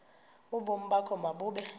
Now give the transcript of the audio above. ubomi bakho mabube